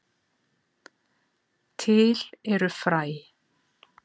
Til eru fræ.